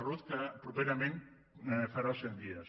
ruz que properament farà els cent dies